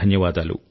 ధన్యవాదాలు